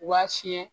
Waa fiɲɛ